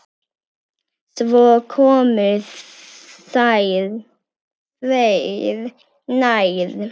Svo komu þeir nær.